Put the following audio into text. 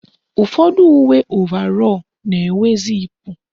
Ụfọdụ uwe ovarọ na-enwe ziipu